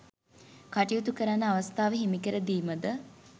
කටයුතු කරන්න අවස්ථාව හිමිකර දීම ද